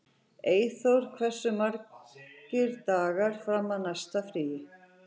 Einþór, hversu margir dagar fram að næsta fríi?